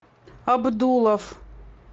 абдулов